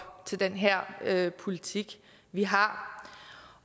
til den her her politik vi har